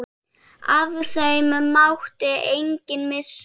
Af þeim mátti enginn missa.